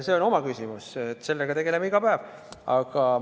See on omaette küsimus, sellega tegeleme iga päev.